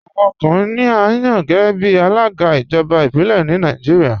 Awọn ọkùnrin ni à yàn géẹ̀bí alága ijọba ibilẹ̀ ni Nàìjíríà.